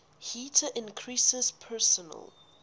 heater increases personal